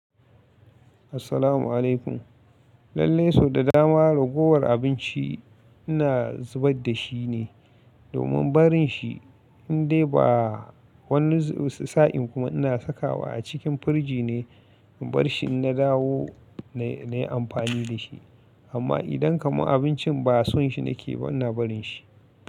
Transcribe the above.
Assalamu alaikum. Lallai sau da dama ragowar abinci ina zubar da shi ne domin barin shi in dai ba wani sa'in kuma ina saka wa a cikin firji ne in bar shi na dawo na yi amfani da shi. Amma idan kamar abincin ba son shi nake ba, ina barin shi.